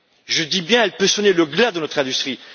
Je dis bien qu'elle peut sonner le glas de notre industrie.